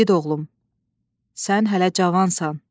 İgid oğlum, sən hələ cavansan.